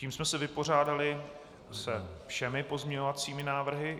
Tím jsme se vypořádali se všemi pozměňovacími návrhy.